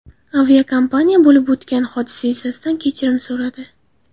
Aviakompaniya bo‘lib o‘tgan hodisa yuzasidan kechirim so‘radi.